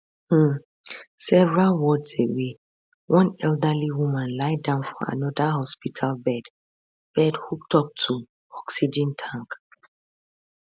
um several wards away one elderly woman lie down for anoda hospital bed bed hooked up to oxygen tank